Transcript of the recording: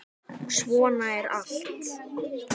Svona var allt.